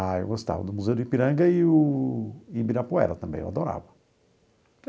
Ah, eu gostava do Museu do Ipiranga e o Ibirapuera também, eu adorava.